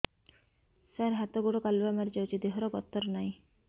ସାର ହାତ ଗୋଡ଼ କାଲୁଆ ମାରି ଯାଉଛି ଦେହର ଗତର ନାହିଁ